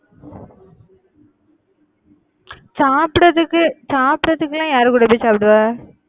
சாப்பிடறதுக்கு சாப்பிடறதுக்குலாம் யார் கூட போய் சாப்பிடுவ?